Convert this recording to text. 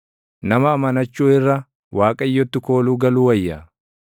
Nama amanachuu irra, Waaqayyotti kooluu galuu wayya.